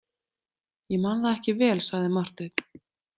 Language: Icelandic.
Ég man það ekki vel, sagði Marteinn.